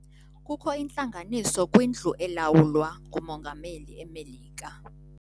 Kukho intlanganiso kwindlu elawulwa ngumongameli eMelika.